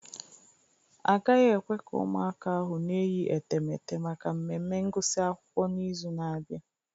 Agaghị ekwe ka ụmụaka ahụ na-eyi etemeete maka mmemme ngụsị akwụkwọ n'izu na-abịa